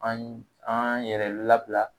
An yi an yɛrɛ labila